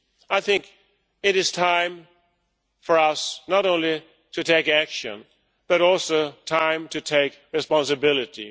I think it is time for us not only to take action, but also time to take responsibility.